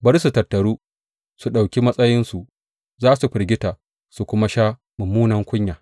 Bari su tattaru su ɗauki matsayinsu; za su firgita su kuma sha mummunan kunya.